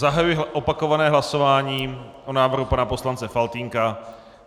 Zahajuji opakované hlasování o návrhu pana poslance Faltýnka.